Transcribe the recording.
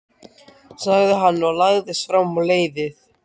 sagði hann og lagðist fram á leiðið.